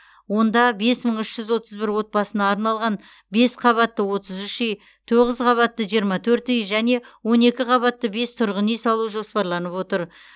онда бес мың үш жүз отыз бір отбасына арналған бес қабатты отыз үш үй тоғыз қабатты жиырма төрт үй және он екі қабатты бес тұрғын үй салу жоспарланып отыр